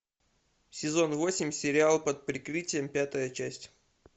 сезон восемь сериал под прикрытием пятая часть